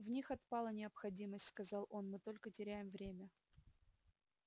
в них отпала необходимость сказал он мы только теряем время